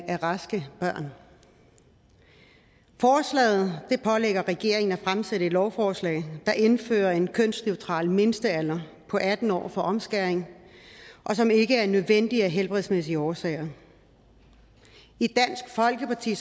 af raske børn forslaget pålægger regeringen at fremsætte et lovforslag der indfører en kønsneutral mindstealder på atten år for omskæring som ikke er nødvendig af helbredsmæssige årsager i dansk folkeparti